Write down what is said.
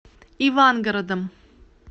ивангородом